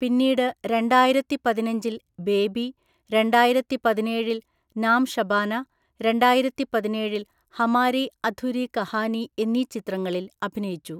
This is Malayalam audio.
പിന്നീട് രണ്ടായിരത്തിപതിനഞ്ചില്‍ ബേബി, രണ്ടായിരത്തിപതിനേഴില്‍ നാം ഷബാന, രണ്ടായിരത്തിപതിനേഴില്‍ ഹമാരി അധുരി കഹാനി എന്നീ ചിത്രങ്ങളിൽ അഭിനയിച്ചു.